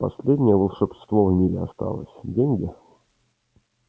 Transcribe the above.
последнее волшебство в мире осталось деньги